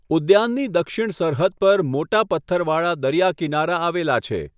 ઉદ્યાનની દક્ષિણ સરહદ પર મોટા પથ્થરવાળા દરિયા કિનારા આવેલા છે.